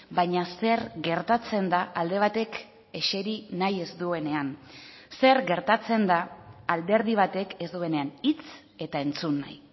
baina zer gertatzen da alde batek eseri nahi ez duenean zer gertatzen da alderdi batek ez duenean hitz eta entzun nahi